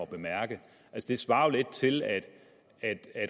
bemærke det svarer lidt til at at